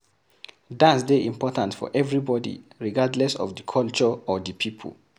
Dance dey important for everybody regardless of di culture or di people